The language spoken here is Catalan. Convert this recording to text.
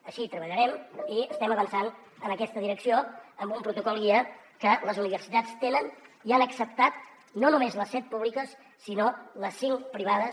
així treballarem i es tem avançant en aquesta direcció amb un protocol guia que les universitats tenen i han acceptat no només les set públiques sinó les cinc privades